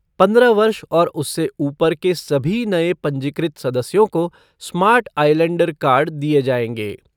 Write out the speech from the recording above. पन्द्रह वर्ष और उससे ऊपर के सभी नए पंजीकृत सदस्यों को स्मार्ट आईलैंडर कार्ड दिए जाएंगे।